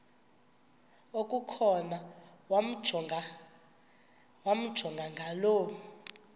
okukhona wamjongay ngaloo